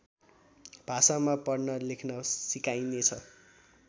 भाषामा पढ्न लेख्न सिकाइनेछ